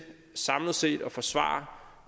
samlet set at forsvare